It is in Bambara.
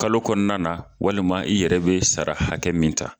Kalo kɔnɔna na walima i yɛrɛ bi sara hakɛ min ta.